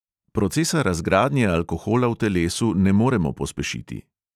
Procesa razgradnje alkohola v telesu ne moremo pospešiti.